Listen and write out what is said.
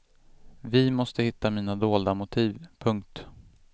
Vi måste hitta mina dolda motiv. punkt